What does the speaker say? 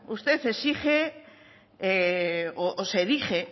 usted exige o se erige